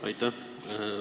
Aitäh!